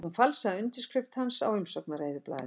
Hún falsaði undirskrift hans á umsóknareyðublað